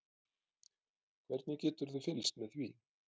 Hvernig geturðu fylgst með því?